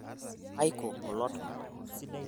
kaiko kulo tunganak